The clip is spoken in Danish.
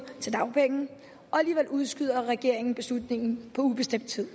til dagpenge og alligevel udskyder regeringen beslutningen på ubestemt tid